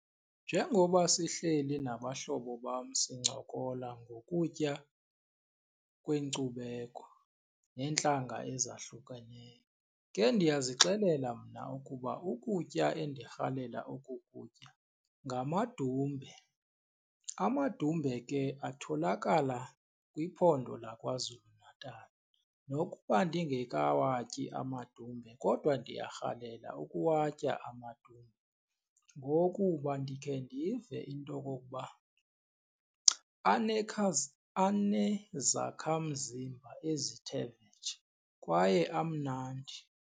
Njengoba sihleli nabahlobo bam sincokola ngokutya kweenkcubeko neentlanga ezahlukeneyo ke ndiyazixelela mna ukuba ukutya endirhalela ukukutya ngamdumbe. Amadumbe ke atholakala kwiphondo laKwaZulu-Natal. Nokuba ndingekawatyi amadumbe kodwa ndiyarhalela ukuwatya amadumbe ngokuba ndikhe ndive into okokuba anezakhamzimba ezithe vetshe kwaye amnandi.